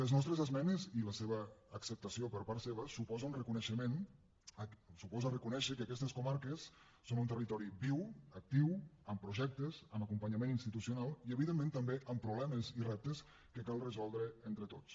les nostres esmenes i la seva acceptació per part seva suposa reconèixer que aquestes comarques són un territori viu actiu amb projectes amb acompanyament institucional i evidentment també amb problemes i reptes que cal resoldre entre tots